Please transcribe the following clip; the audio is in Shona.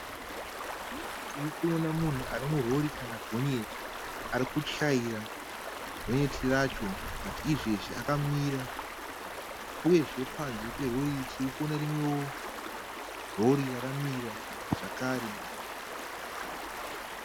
Tirikuona munhu ari murori kana gonyeti, arikuchaira gonyeti racho bhati izvezvi akamira. Uyezve panze perori iri tirikuona rimwewo rori rakamira zvakare.